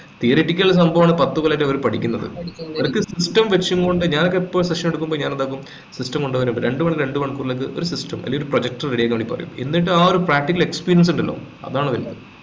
theoretical സംഭവമാണ് അവര് പത്തു കൊല്ലായി പഠിക്കുന്നത് അവർക്ക് system വെച്ചും കൊണ്ട് ഞാനൊക്കെ എപ്പോൾ session എടുക്കുമ്പോ ഞാൻ എന്താകും system കൊണ്ടുവരാൻ രണ്ട് മണിക്കൂർ നേരത്തേക്ക് ഒരു system അല്ലെങ്കി ഒരു projector ready ആക്കാൻ വേണ്ടി പറയും എന്നിട്ട് ആ ഒരു practical experience ഇണ്ടല്ലോ അതാണല്ലോ വലുത്